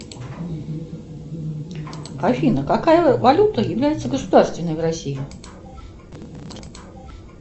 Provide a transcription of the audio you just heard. афина какая валюта является государственной в россии